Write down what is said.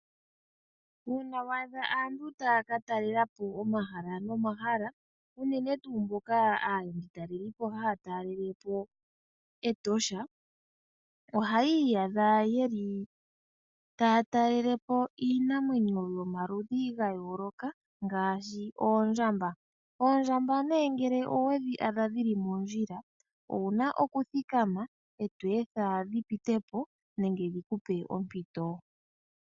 Uuna wa adha aantu taya ka talelapo omahala nomahala, unene tuu mboka aatalelipo haya talelepo Etosha, ohaya iyadha yeli taya talelepo iinamwenyo yomaludhi ga yooloka ngaashi oondjamba. Oondjamba nee ngele owe dhi adha dhi li mondjila owuna okuthikama, e to etha dhi pitepo nenge dhi ku pe ompito.